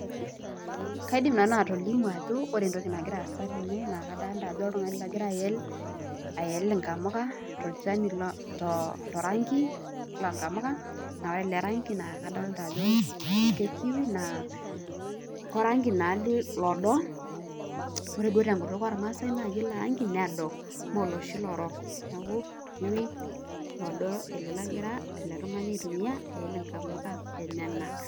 Kaidim atolimu ajo ore entoki nagira aasa tene naa oltungani logira ayel ingamuka torangi loonkamuka le kiwi naa korangi naa lodo